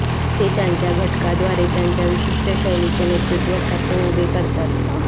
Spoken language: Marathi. ते त्यांच्या घटकाद्वारे त्यांच्या विशिष्ट शैलीचे नेतृत्व ठासून उभे करतात